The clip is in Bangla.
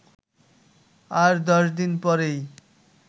আর দশ দিন পরেই